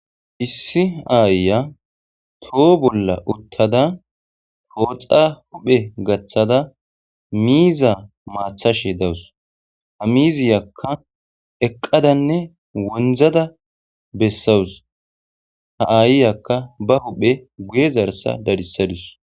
issi aayya toho bolla uttada pooxa huphe gaththada miiza maathashe dawus ha miziyakka eqqadanne wonizada bessawus ha aayyakka ba huphe guye zarsa dadissadus